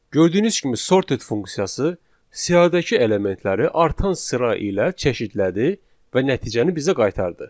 Gördüyünüz kimi sorted funksiyası siyahıdakı elementləri artan sıra ilə çeşidlədi və nəticəni bizə qaytardı.